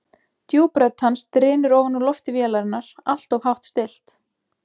Djúp rödd hans drynur ofan úr lofti vélarinnar, alltof hátt stillt.